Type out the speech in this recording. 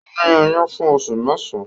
Ó ní oyún fún oṣù mẹ́sàán